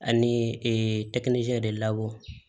Ani tɛkinisɛn de labɔ